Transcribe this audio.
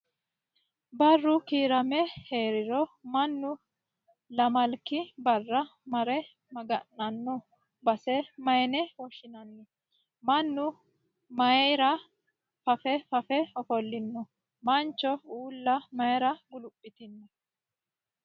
Barru kiirame hariro mannu lamalki baara mare maga'nanno base mayiine woshshinani? Mannu mayiira fafe fafe ofollino? Mancho uulla mayiira guluphitino?